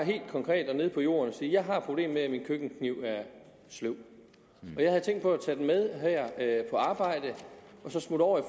konkret og nede på jorden at sige jeg har problemer med at min køkkenkniv er sløv og jeg havde tænkt på at tage den med her på arbejde og så smutte over i